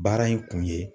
Baara in kun ye